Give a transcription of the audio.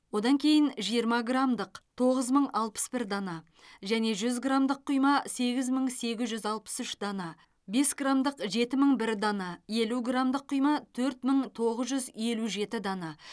одан кейін жиырма грамдық тоғыз мың алпыс бір дана және жүз грамдық құйма сегіз мың сегіз жүз алпыс үш дана бес грамдық жеті мың бір дана елу грамдық құйма төрт мың тоғыз жүз елу жеті дана